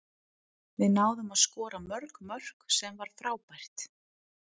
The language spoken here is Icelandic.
Við náðum að skora mörg mörk, sem var frábært.